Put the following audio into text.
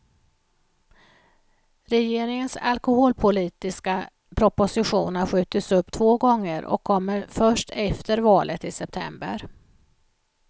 Regeringens alkoholpolitiska proposition har skjutits upp två gånger och kommer först efter valet i september.